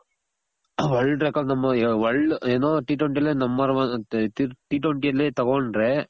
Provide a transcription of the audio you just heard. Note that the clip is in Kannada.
world record world ಏನು T twenty ಅಲ್ಲೇ number one ಅಂತೆ T twenty ಅಲ್ಲಿ ತಗೊಂಡ್ರೆ